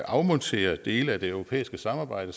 afmonterer dele af det europæiske samarbejde